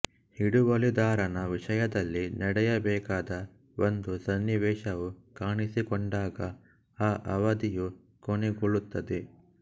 ಹಿಡುವಳಿದಾರನ ವಿಷಯದಲ್ಲಿ ನಡೆಯ ಬೇಕಾದ ಒಂದು ಸನ್ನಿವೇಶವು ಕಾಣಿಸಿಕೊಂಡಾಗ ಆ ಅವಧಿಯು ಕೊನೆಗೊಳ್ಳುತ್ತದೆ